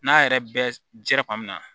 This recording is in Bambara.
N'a yɛrɛ bɛɛ dira kuma min na